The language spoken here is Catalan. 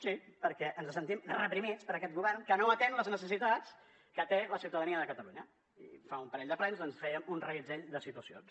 sí perquè ens sentim reprimits per aquest govern que no atén les necessitats que té la ciutadania de catalunya i fa un parell de plens doncs fèiem un reguitzell de situacions